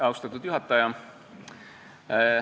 Austatud juhataja!